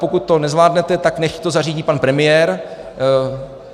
Pokud to nezvládnete, tak nechť to zařídí pan premiér.